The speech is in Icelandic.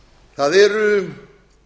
það eru